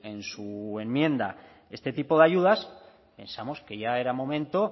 en su enmienda este tipo de ayudas pensamos que ya era momento